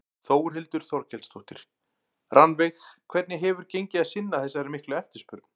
Þórhildur Þorkelsdóttir: Rannveig hvernig hefur gengið að sinna þessari miklu eftirspurn?